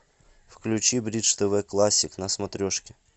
включи бридж тв классик на смотрешке